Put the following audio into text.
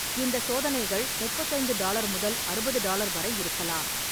இந்த சோதனைகள் முப்பத்தி ஐந்து டாலர் முதல் அறுபது டாலர் வரை இருக்கலாம்.